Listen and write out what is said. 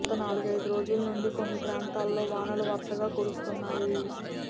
గత నాలుగైదు రోజుల నుండి కొన్ని ప్రాంతాల్లో వానలు వరుసగా కురుస్తున్నాయి